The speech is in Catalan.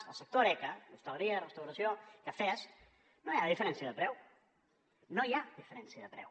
el sector horeca hostaleria restauració cafès no hi ha diferència de preu no hi ha diferència de preu